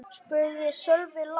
spurði Sölvi lágt.